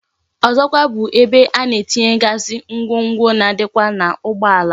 Ọzọkwa bụ ebe a na-etinyegazi ngwongwo na adikwa na ugbo ala